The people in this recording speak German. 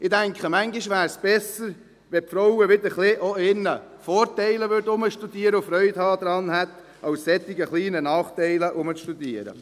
Ich denke, manchmal wäre es besser, wenn die Frauen auch wieder ein wenig über ihre Vorteile nachdenken würden und Freude daran hätten, als über solche kleinen Nachteile zu grübeln.